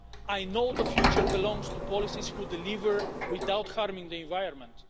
I know the future belongs to policies, which deliver without harming the environment.